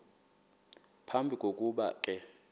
phambi kokuba ke